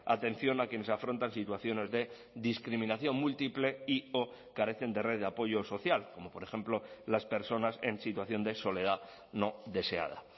atención a quienes afrontan situaciones de discriminación múltiple y o carecen de red de apoyo social como por ejemplo las personas en situación de soledad no deseada